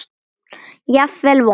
Jafnvel vont.